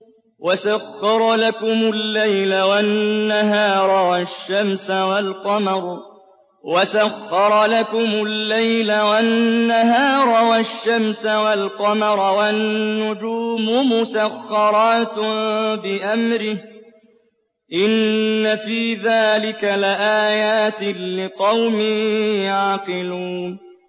وَسَخَّرَ لَكُمُ اللَّيْلَ وَالنَّهَارَ وَالشَّمْسَ وَالْقَمَرَ ۖ وَالنُّجُومُ مُسَخَّرَاتٌ بِأَمْرِهِ ۗ إِنَّ فِي ذَٰلِكَ لَآيَاتٍ لِّقَوْمٍ يَعْقِلُونَ